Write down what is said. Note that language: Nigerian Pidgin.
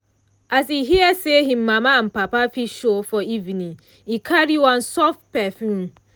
as e hear say him mama and papa fit show for evening e carry one soft perfume.